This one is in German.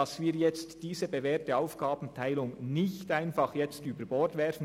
Wir sollten diese bewährte Aufgabenteilung nicht einfach über Bord werfen.